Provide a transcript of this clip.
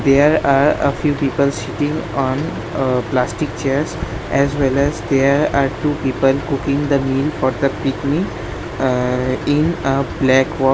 There are a few people sitting on a plastic chairs as well as their are two people cooking the meal for the picnic aa in a black wa --